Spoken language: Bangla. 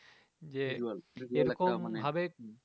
যে এরকম ভাবে